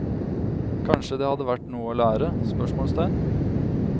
Kanskje det hadde vært noe å lære? spørsmålstegn